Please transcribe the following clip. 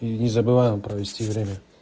незабываем провести время